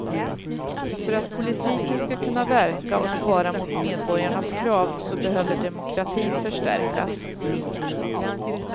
För att politiken ska kunna verka och svara mot medborgarnas krav så behöver demokratin förstärkas.